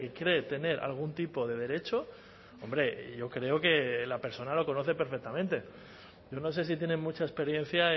cree tener algún tipo de derecho hombre yo creo que la persona lo conoce perfectamente yo no sé si tienen mucha experiencia